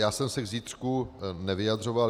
Já jsem se k zítřku nevyjadřoval.